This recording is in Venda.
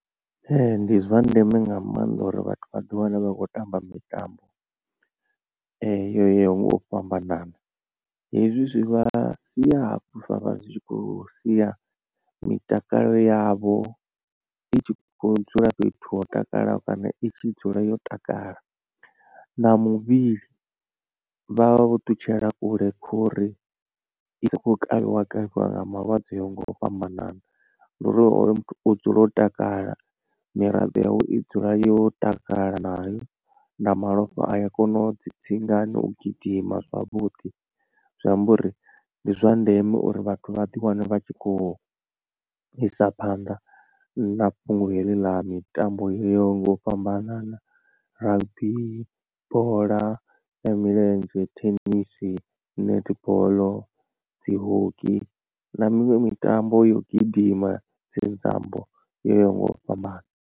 Ee ndi zwa ndeme nga maanḓa uri vhathu vha ḓi wane vha kho tamba mitambo yo yaho nga u fhambanana hezwi zwi vha sia hafhu zwavha zwi tshi khou sia mitakalo yavho i tshi khou dzula fhethu ho takalaho kana i tshi dzula yo takala. Na muvhili vha vha vho ṱutshela kule khouri i soko kavhiwa kavhiwa nga malwadze o yaho nga u fhambanana ndi uri hoyo muthu u dzula o takala miraḓo yawe i dzula yo takala nayo na malofha a ya kona dzi tsingani u gidima zwavhuḓi. Zwi amba uri ndi zwa ndeme uri vhathu vha ḓi wane vha tshi khou isa phanḓa na fhungo heḽi ḽa mitambo yo yaho nga u fhambanana rugby, bola ya milenzhe, thenisi, netball dzi hockey na miṅwe mitambo ya u gidima dzi nzambo yo yaho nga u fhambana.